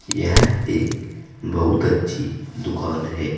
यह एक बहुत अच्छी दुकान है।